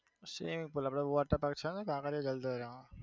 swimming pool આપડે water park છે ને કાંકરિયા જલધારા